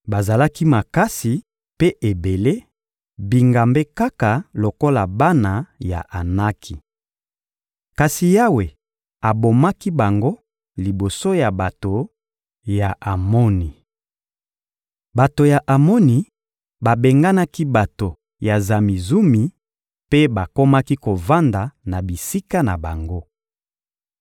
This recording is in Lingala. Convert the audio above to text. Bazalaki makasi mpe ebele, bingambe kaka lokola bana ya Anaki. Kasi Yawe abomaki bango liboso ya bato ya Amoni. Bato ya Amoni babenganaki bato ya Zamizumi mpe bakomaki kovanda na bisika na bango.